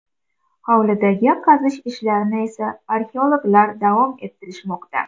Hovlidagi qazish ishlarini esa arxeologlar davom ettirishmoqda.